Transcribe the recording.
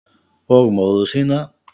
Og móður sína.